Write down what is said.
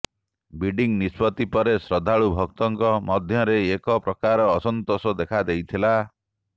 bidding ନିଷ୍ପତି ପରେ ଶ୍ରଦ୍ଧାଳୁ ଭକ୍ତଙ୍କ ମଧ୍ୟରେ ଏକ ପ୍ରକାର ଅସନ୍ତୋଷ ଦେଖା ଦେଇଥିଲା